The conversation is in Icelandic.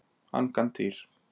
Angantýr